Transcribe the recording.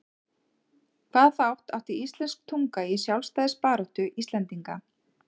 Hvaða þátt átti íslensk tunga í sjálfstæðisbaráttu Íslendinga?